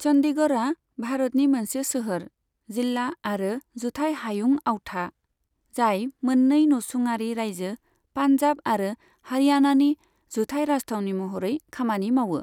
चंडीगढ़आ भारतनि मोनसे सोहोर, जिल्ला आरो जुथाइ हायुं आवथा, जाय मोननै नसुङारि रायजो पान्जाब आरो हारियाणानि जुथाइ राजथावनि महरै खामानि मावो।